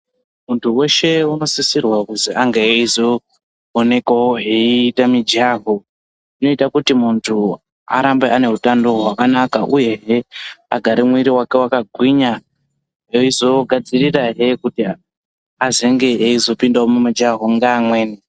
Muntu weshe unosisirwa kuzi ange eyizonekwawo eite mijaho inoita kuti muntu arambe ane utano hwakanaka uyehe agare mwiri wake wakagwinya eizogadzirirahe kuti azenge eizopindawo mujaho neamweni.